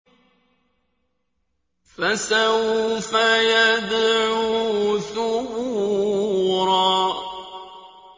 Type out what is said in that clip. فَسَوْفَ يَدْعُو ثُبُورًا